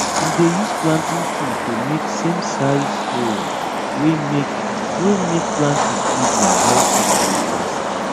we dey use planting tool to make samesize hole wey make wey make planting easy and help seed grow fast